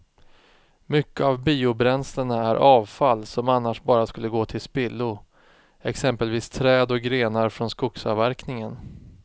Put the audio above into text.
Mycket av biobränslena är avfall som annars bara skulle gå till spillo, exempelvis träd och grenar från skogsavverkningen.